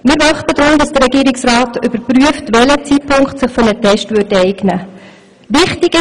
Wir möchten deswegen, dass der Regierungsrat überprüft, welcher Zeitpunkt sich für einen Test eignen würde.